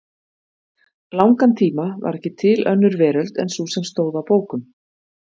langan tíma var ekki til önnur veröld en sú sem stóð á bókum.